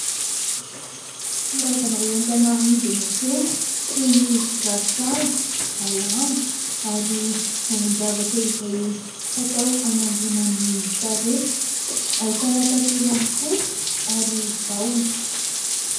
Karazana entana amidy enỳ an-tsena toy ny ravinkazo alamo ary vovon-javatra izay fatao anaingona ny tarehy. Ahitana tantely ihany koa ary vahona.